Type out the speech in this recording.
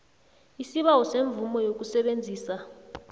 isibawo semvumo yokusebenzisa